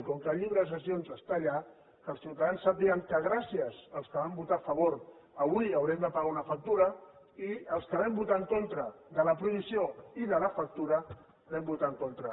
i com que el llibre de sessions està allà que els ciutadans sàpiguen que gràcies als que hi van votar a favor avui haurem de pagar una factura i els que vam votar en contra de la prohibició i de la factura vam votar en contra